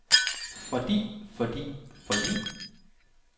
fordi fordi fordi